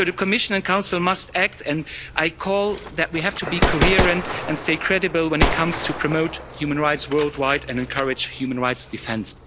The Commission and Council must act and I say that we have to be coherent and stay credible when it comes to promoting human rights worldwide and encourage human rights defence.